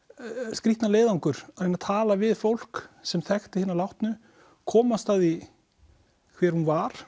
skrýtna leiðangur að reyna að tala við fólk sem þekkti hina látnu komast að því hver hún var